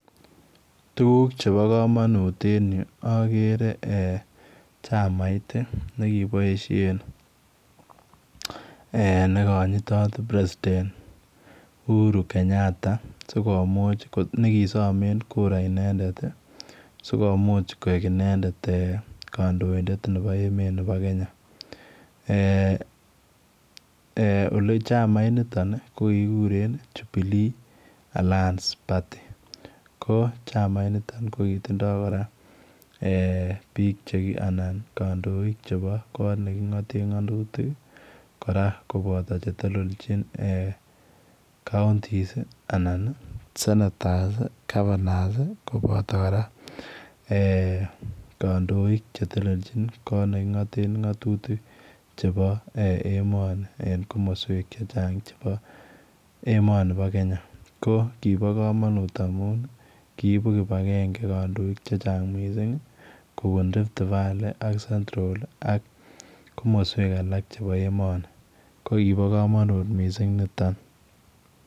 Tuguuk chebo kamanut en Yuu agere eeh nekibaisheen nekanyitaat [president] uhuru Kenyatta sikomuuch nekisamaeen kura inendet sikomuuch koek inendet kandoindet nebo meet ab Kenya eeh eeh ole chamait nitoo ko kikiguren [jubilee alliance party] ko chamait notoon ko kotindoi biik anan kandoik chebo koot nekingateen ngetutik kora ko kobataa che telelejiin counties anan ii [sanators] [governor's] ii kobataa kora eeh kandoik che telelejiin koot nekingateen ngetutik chebo emani en komosweek che chaang chebo emani nibo Kenya ko kiboe kamanut amuun kiibuun kibangengei kandoik che chaang missing kobuun[riftvaleey] [central] ak chebo emani ko kiboe kamanut missing nitoon.